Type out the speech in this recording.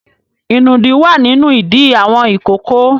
Ìnùdí wà nínú ìdí àwọn ìkókó.